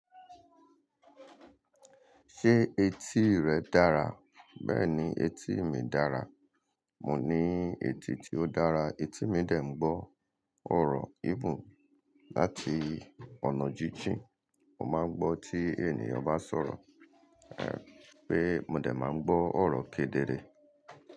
Ṣé etí rẹ dára? Bẹ́ẹ̀ni etí mi dára. Mò ní etí tí ó dára, etí mi dè m gbọ́ ọ̀rọ̀ even láti ọ̀nà jíjìn. Mo máa ń gbọ́ tí ènìyàn bá sọ̀rọ̀, pé mo dè máa ń gbọ́ ọ̀rọ̀ kedere.